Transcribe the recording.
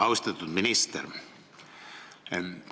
Austatud minister!